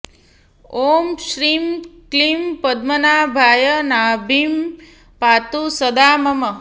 ॐ श्रीं क्लीं पद्मनाभाय नाभिं पातु सदा मम